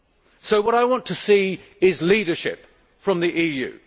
So what I want to see is leadership from the EU.